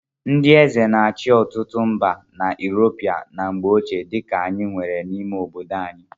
Ndị eze na-achị ọtụtụ mba na Yuropu na mgbe ochie dị ka anyị nwere n'ime obodo anyị.